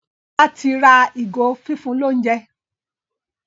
Bola tí ra ìgò fífún l'ounjẹ.